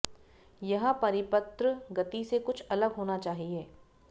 यह परिपत्र गति से कुछ अलग होना चाहिए